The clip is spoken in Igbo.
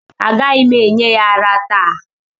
Agaghị m enye ya ara taa